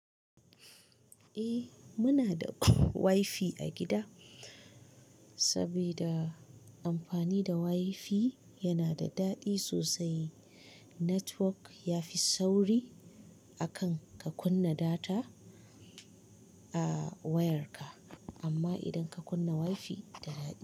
Eh muna da wifi a gida saboda amfani da wifi yana da daɗi sosai. Network yafi sauri akan ka kunna data a wayarka, amma idan ka kunna wifi da daɗi.